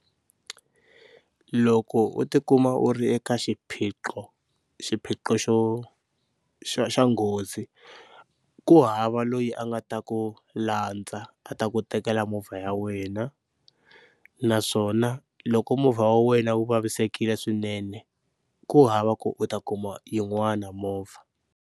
Loko u tikuma u ri eka xiphiqo xiphiqo xo xa xa nghozi, ku hava loyi a nga ta ku landza a ta ku tekela movha ya wena naswona loko movha wa wena wu vavisekile swinene ku hava ku u ta kuma yin'wana movha.